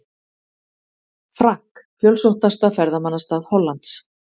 Frank, fjölsóttasta ferðamannastað Hollands.